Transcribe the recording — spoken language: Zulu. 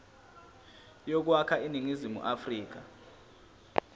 yokwakha iningizimu afrika